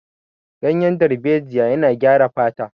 Ganyen darbejiya yana gyara fata